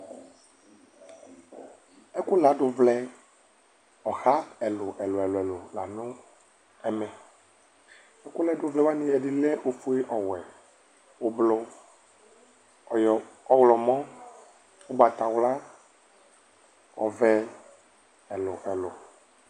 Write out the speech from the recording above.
ɛko lado vlɛ ɔha ɛlò ɛlò ɛlò la no ɛmɛ ɛko lado vlɛ wani ɛdi lɛ ofue ɔwɛ ublɔ ayɔ ɔwlɔmɔ ugbatawla ɔvɛ ɛlò ɛlò